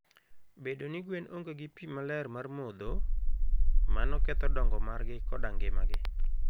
Bedo ni gwen onge gi pi maler mar modho, mano ketho dongo margi koda ngimagi.